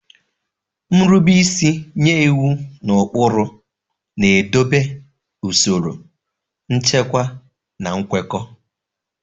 Nrube isi nye iwu na ụkpụrụ na-edobe usoro, nchekwa, na nkwekọ.